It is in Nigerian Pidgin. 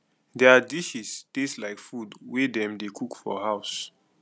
their dishes taste like food wey dem dey cook for house